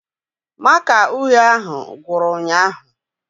Màkà uhie ahụ gwụrụ ụnyaahụ